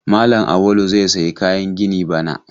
Malam Auwalu zai sayi kayan gini bana.